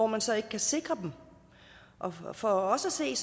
man så ikke kan sikre og og for os at se er